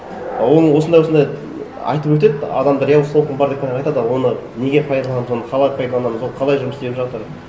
а оны осындай осындай айтып өтеді адамдар иә осы толқын бар екенін айтады а оны неге пайдаланамыз оны қалай пайдаланамыз ол қалай жұмыс істеп жатыр